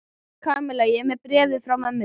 Kamilla, ég er með bréfið frá mömmu þinni.